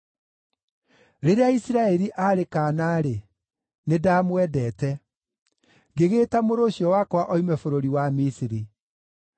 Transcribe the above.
“Rĩrĩa Isiraeli aarĩ kaana-rĩ, nĩndamwendete, ngĩgĩĩta mũrũ ũcio wakwa oime bũrũri wa Misiri.